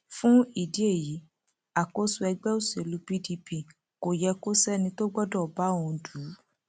fún ìdí èyí àkóso ẹgbẹ òṣèlú pdp kò yẹ kó sẹni tó gbọdọ bá òun dù ú